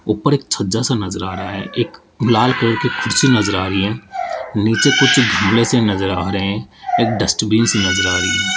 ऊपर एक छज्जा सा नजर आ रहा है एक लाल कलर की कुर्सी नजर आ रही है नीचे कुछ से नजर आ रहे हैं एक डस्टबिन सी नजर आ रही --